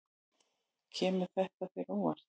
Kemur þetta þér á óvart?